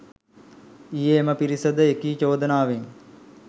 ඊයේ එම පිරිස ද එකී චෝදනාවෙන්